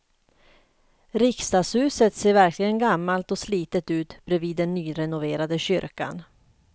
Riksdagshuset ser verkligen gammalt och slitet ut bredvid den nyrenoverade kyrkan.